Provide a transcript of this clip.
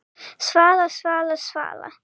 Svala, Svala, Svala!